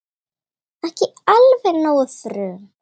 Ekki alveg nógu frum